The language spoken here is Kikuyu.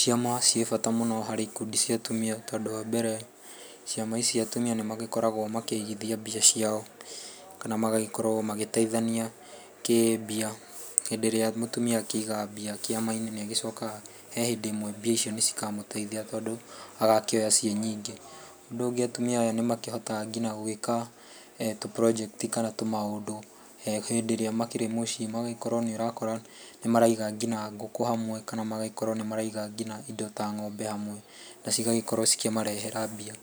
Ciama ciĩbata mũno harĩ ikundi cia atumia, tondũ wambere, ciama ici atumia nĩ magĩkoragwo makĩigithia mbia ciao, kana magagĩkorwo magĩteithania kĩmbia. Hĩndĩ ĩrĩa mũtumia akĩiga mbia kĩama-inĩ nĩ agĩcokaga, hehĩndĩ ĩmwe mbia icio cikamũteithia tondũ agakĩoya ciĩnyingĩ. Ũndũ ũngĩ nĩ atumia nĩmahotaga ngina gwĩka, tũ project kana tũmaũndũ. Hĩndĩ ĩrĩa makĩrĩ mũciĩ, nĩ ũgakora nginya nĩmaraiga nginya ngũkũ hamwe, magagĩkorwo nĩmaraiga nginya ng'ombe hamwe, na cigagĩkorwo nĩ ciramarehera mbia.